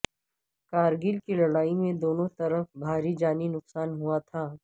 کارگل کی لڑائی میں دونوں طرف بھاری جانی نقصان ہوا تھا